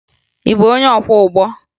Ị bụ onye ọkwọụgbọ?